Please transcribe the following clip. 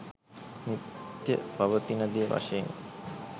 නිත්‍ය පවතින දේ වශයෙන්